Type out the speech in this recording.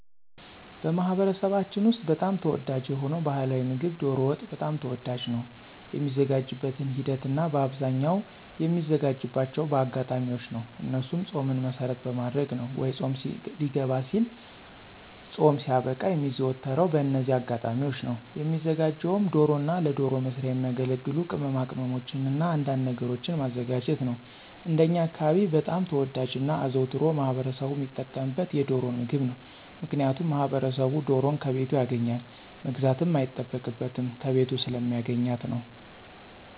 በማኅበረሰባችን ውስጥ በጣም ተወዳጅ የሆነው ባሕላዊ ምግብ ዶሮ ወጥ በጣም ተወዳጅ ነው። የሚዘጋጅበትን ሂደት እናበአብዛኛው የሚዘጋጅባቸው በአጋጣሚዎች ነው እነሱም ፆምን መሰረት በማድረግ ነው ወይ ፆም ሊገባ ሲልና ፆም ሲያበቃ የሚዘወተረው በእነዚህ አጋጣሚዎች ነው። የሚዘጋጀውም ዶሮና ለዶሮ መስሪያ የሚያገለግሉ ቅማቅመሞችንና አንዳንድ ነገሮችን ማዘጋጀት ነው። እንደኛ አካባቢ በጣም ተወዳጅና አዘውትሮ ማህበረሰቡ ሚጠቀምበት የዶሮን ምግብ ነው። ምክንያቱም ማህበረሰቡ ዶሮን ከቤቱ ያገኛል መግዛትም አይጠበቅበትም ከቤቱ ስለሚያገኛት ነው።